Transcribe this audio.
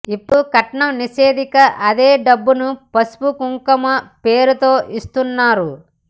ఇప్పుడు కట్నం నిషేధించాక అదే డబ్బును పసుపు కుంకుమ పేరుతో ఇస్తున్నారు